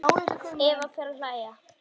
Eva fer að hlæja.